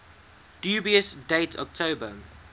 dubious date october